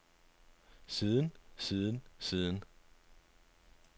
siden siden siden